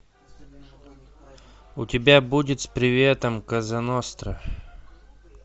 у тебя будет с приветом коза ностра